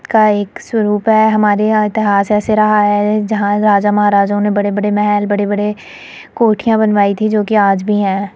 का एक स्वरूप है हमारे यहाँ इतिहास ऐसे रहा है जहाँ राजा महाराजाओं ने बड़े- बड़े महल बड़े -बड़े कोठिया बनवायी थी जो कि आज भी है।